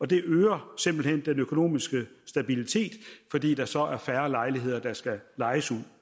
det øger simpelt hen den økonomiske stabilitet fordi der så er færre lejligheder der skal lejes ud